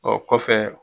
O kɔfɛ